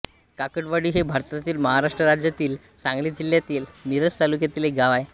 काकडवाडी हे भारतातील महाराष्ट्र राज्यातील सांगली जिल्ह्यातील मिरज तालुक्यातील एक गाव आहे